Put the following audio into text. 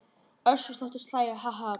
Össur þóttist hlæja:- Ha ha.